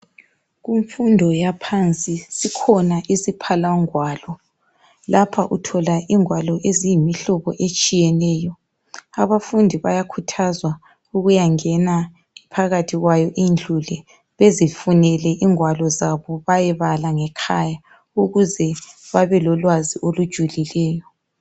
Kumfundo yaphansi sikhona isiphalangwalo. Lapha uthola izingwalo eziyimihlobo etshiyeneyo. Abafundi bayakhuthazwa ukuyangena phakathi kwayo indlu le bezifunele ingwalo zabo bayebala ngekhaya ukuze babe lolwazi olujulileyo.